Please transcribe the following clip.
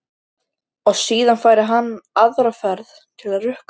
Og síðan færi hann aðra ferð til að rukka.